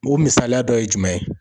O misaliya dɔ ye jumɛn ye?